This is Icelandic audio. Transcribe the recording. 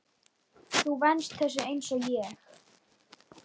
Þú venst þessu einsog ég.